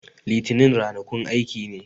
Litanin rana kun aiki ne